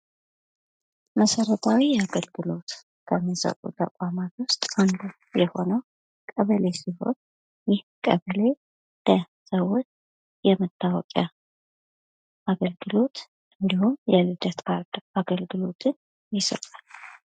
መሰረታዊ አገልግሎት ከሚሰጡት ከሚሰጡ ተቋማት ውስጥ አንዱ የሆነው ቀበሌ ሲሆን ይህ ቀበሌ ለሰዎች የመታወቂያ አገልግሎት እንዲሁም የልደት ካርድ አገልግሎትን ይሰጣል።